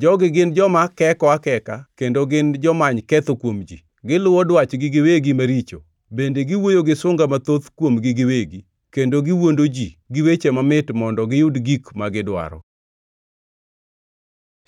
Jogi gin joma keko akeka kendo gin jomany ketho kuom ji; giluwo dwachgi giwegi maricho, bende giwuoyo gi sunga mathoth kuomgi giwegi. Kendo giwuondo ji gi weche mamit mondo giyud gik magidwaro.